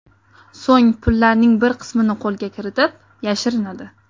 So‘ng pullarning bir qismini qo‘lga kiritib, yashirinadi.